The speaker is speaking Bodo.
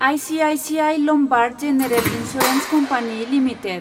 ICICI Lombard General Insurance Company limited